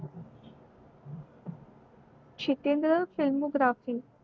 Shitendra film graphi